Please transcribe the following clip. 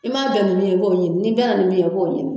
I m'a bɛn ni min ye b'o ɲini, ni bɛna nin min ye b'o ɲini.